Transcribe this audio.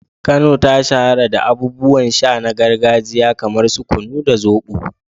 Kano ta shahara da abubuwan sha na gargajiya kamar su kunu da zobo.